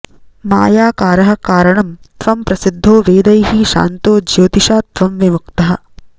मायाकारः कारणं त्वं प्रसिद्धो वेदैः शान्तो ज्योतिषा त्वं विमुक्तः